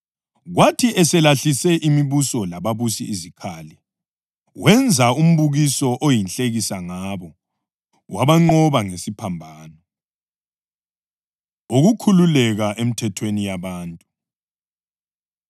Kwathi eselahlise imibuso lababusi izikhali, wenza umbukiso oyinhlekisa ngabo, wabanqoba ngesiphambano. Ukukhululeka Emthethweni Yabantu